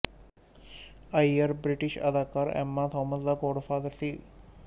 ਆਇਅਰ British ਅਦਾਕਾਰਾ Emma Thompson ਦਾ godfather ਸੀ